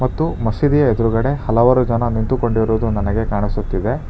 ಮತ್ತು ಮಸೀದಿಯ ಎದುರುಗಡೆ ಹಲವಾರು ಜನ ನಿಂತುಕೊಂಡಿರುವುದು ನನಗೆ ಕಾಣಿಸುತ್ತಿದೆ.